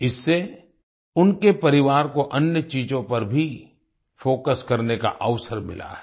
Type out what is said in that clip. इससे उनके परिवार को अन्य चीजों पर भी फोकस करने का अवसर मिला है